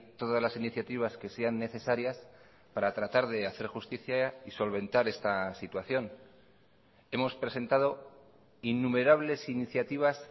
todas las iniciativas que sean necesarias para tratar de hacer justicia y solventar esta situación hemos presentado innumerables iniciativas